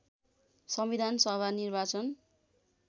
संविधान सभा निर्वाचन